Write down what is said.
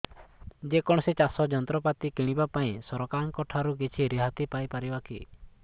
ଯେ କୌଣସି ଚାଷ ଯନ୍ତ୍ରପାତି କିଣିବା ପାଇଁ ସରକାରଙ୍କ ଠାରୁ କିଛି ରିହାତି ପାଇ ପାରିବା କି